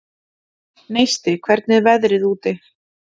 Neisti, hvernig er veðrið úti?